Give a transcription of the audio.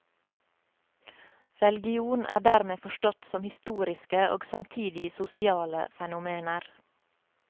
Religion er dermed forstått som historiske og samtidig sosiale fenomener.